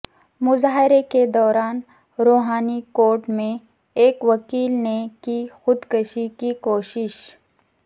مظاہرے کے دوران روہنی کورٹ میں ایک وکیل نے کی خود کشی کی کوشش